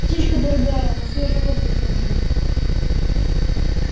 птичка дорогая ему свежий воздух нужен